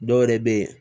Dɔw yɛrɛ bɛ yen